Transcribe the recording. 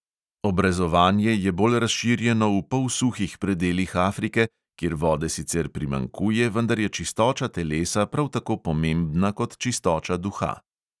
Obrezovanje je bolj razširjeno v polsuhih predelih afrike, kjer vode sicer primanjkuje, vendar je čistoča telesa prav tako pomembna kot čistoča duha.